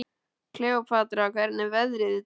Kleópatra, hvernig er veðrið í dag?